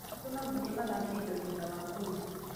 Ũtukũ nonginya mathambie indo thutha wa kũrĩa.